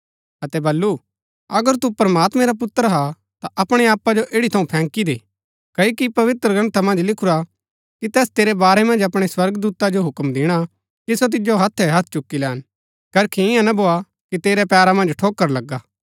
अतै बल्लू अगर तू प्रमात्मैं रा पुत्र हा ता अपणै आपा जो एठी थऊँ फैंकी दे क्ओकि पवित्रग्रन्था मन्ज लिखुरा कि तैस तेरै वारै मन्ज अपणै स्वर्गदूता जो हुक्म दिणा कि सो तिजो हत्थैहत्थ चुक्की लैन करखी ईयां ना भोआ कि तेरै पैरा मन्ज ठोकर लगा